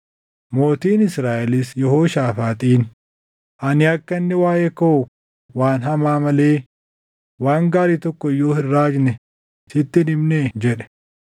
Mootiin Israaʼelis Yehooshaafaaxiin, “Ani akka inni waaʼee koo waan hamaa malee waan gaarii tokko iyyuu hin raajne sitti hin himnee?” jedhe.